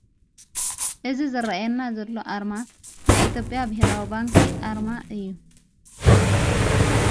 እዝ ዘረአየና ዘሎ ኣርማ ናይ ኢትዮጵያ ብሔራዊ ባንኪ ኣርማ እዩ::